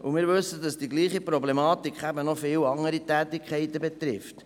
Wir wissen, dass dieselbe Problematik viele andere Tätigkeiten betrifft.